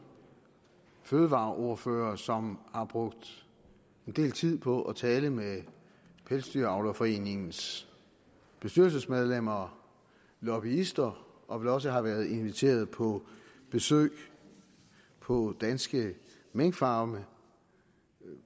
fødevareordførere som har brugt en del tid på at tale med pelsdyravlerforeningens bestyrelsesmedlemmer lobbyister og vel også har været inviteret på besøg på danske minkfarme